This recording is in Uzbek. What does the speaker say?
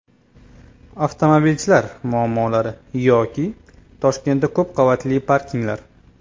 Avtomobilchilar muammolari yoki Toshkentda ko‘p qavatli parkinglar.